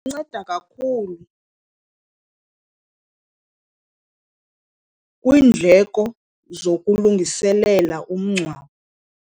Inceda kakhulu kwiindleko zokulungiselela umngcwabo.